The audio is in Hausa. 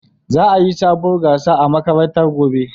Za'a yi sabuwar gasa a makarantar gobe.